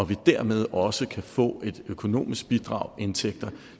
vi dermed også kan få et økonomisk bidrag indtægter